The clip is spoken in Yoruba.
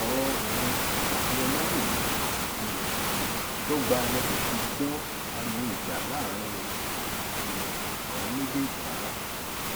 ọrọ òun àti ọmọwunmi um dọgba lé kò ṣe gbọ ariwo ìjà láàrin um àwọn méjèèjì rárá